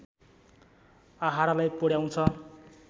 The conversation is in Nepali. आहारालाई पुर्‍याउँछ